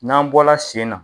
N'an bɔ la sen na.